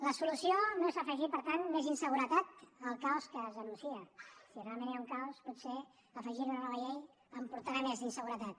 la solució no és afegir per tant més inseguretat al caos que es denúncia si realment hi ha un caos potser afegir hi una nova llei en portarà més d’inseguretat